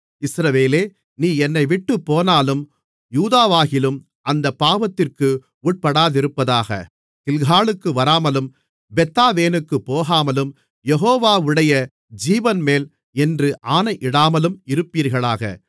இஸ்ரவேலே நீ என்னைவிட்டுப் போனாலும் யூதாவாகிலும் அந்தப் பாவத்திற்கு உட்படாதிருப்பதாக கில்காலுக்கு வராமலும் பெத்தாவேனுக்குப் போகாமலும் யெகோவாவுடைய ஜீவன்மேல் என்று ஆணையிடாமலும் இருப்பீர்களாக